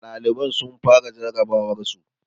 Ɗaliban sun fara jarrabawarsu